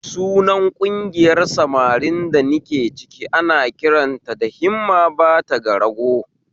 Sunan ƙungiyar samarin da nike ciki ana kiranta da 'Himma bata ga rago'?